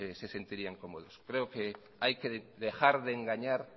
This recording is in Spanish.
se sentirían cómodos creo que hay que dejar de engañar